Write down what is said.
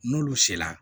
N'olu sera